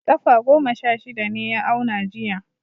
Kafa goma sha shida ne ya auna jiya.